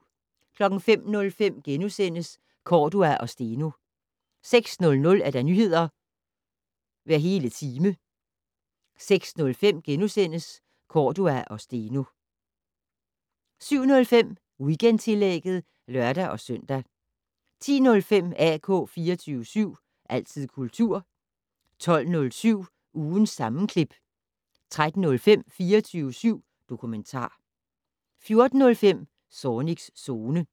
05:05: Cordua og Steno * 06:00: Nyheder hver hele time 06:05: Cordua og Steno * 07:05: Weekendtillægget (lør-søn) 10:05: AK 24syv. Altid kultur 12:07: Ugens sammenklip 13:05: 24syv dokumentar 14:05: Zornigs Zone